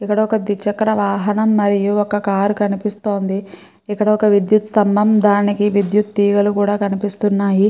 ఇక్కడ ఒక దురచక్ర వాహనం మరియు ఒక కారు కనిపిస్తోంది ఇక్కడ ఒక విదత్తు స్తంబం దానికి విదుతూ తెగలు కనిపిస్తున్నాయి.